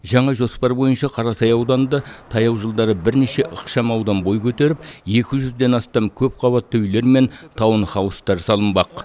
жаңа жоспар бойынша қарасай ауданында таяу жылдары бірнеше ықшам аудан бой көтеріп екі жүзден астам көпқабатты үйлер мен таунхаустар салынбақ